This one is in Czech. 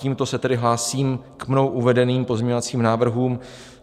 Tímto se tedy hlásím k mnou uvedeným pozměňovacím návrhům.